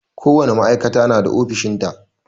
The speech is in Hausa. Ko wane ma'aikata na da ofishin ta.